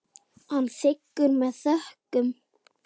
Hann þiggur það með þökkum.